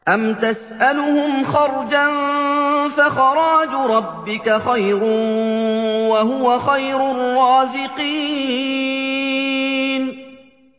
أَمْ تَسْأَلُهُمْ خَرْجًا فَخَرَاجُ رَبِّكَ خَيْرٌ ۖ وَهُوَ خَيْرُ الرَّازِقِينَ